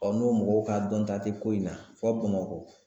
n'o mɔgɔw ka dɔnta tɛ ko in na fɔ Bamakɔ